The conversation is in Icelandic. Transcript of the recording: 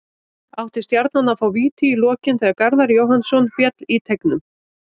Átti Stjarnan að fá víti í lokin þegar Garðar Jóhannsson féll í teignum?